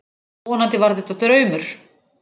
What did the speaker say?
Vonandi var þetta draumur.